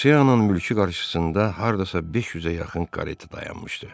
Devoseyanın mülkü qarşısında hardasa 500-ə yaxın kareta dayanmışdı.